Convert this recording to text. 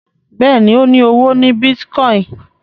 Béèni o ní ọwọ ní Bitcoin.